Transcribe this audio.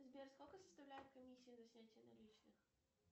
сбер сколько составляет комиссия за снятие наличных